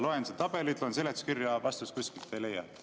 Loen seda tabelit, loen seletuskirja, vastust kuskilt ei leia.